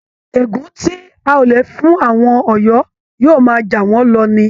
Ègún tí Aólẹ̀ fún àwọn Ọ̀yọ́ yóò máa jàwọn lọ ni